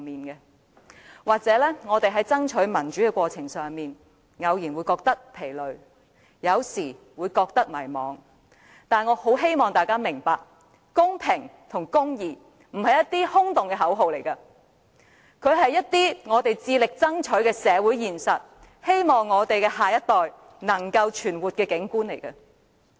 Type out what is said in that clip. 也許我們在爭取民主的過程中，偶然會感到疲累和迷茫，但我很希望大家明白，公平和公義並非空洞的口號，而是我們致力爭取的社會現實，是我們希望下一代能夠存活的景況。